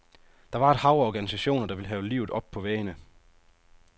Der var et hav af organisationer, der ville have livet op på væggene.